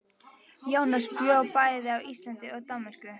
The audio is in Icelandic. Jónas bjó bæði á Íslandi og í Danmörku.